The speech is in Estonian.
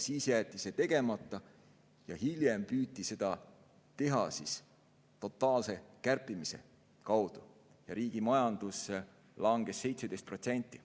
Siis jäeti see tegemata, hiljem püüti seda teha totaalse kärpimise kaudu ja riigi majandus langes 17%.